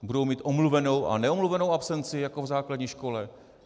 Budou mít omluvenou a neomluvenou absenci jako v základní škole?